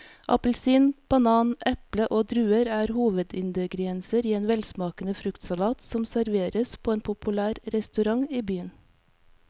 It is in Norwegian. Appelsin, banan, eple og druer er hovedingredienser i en velsmakende fruktsalat som serveres på en populær restaurant i byen.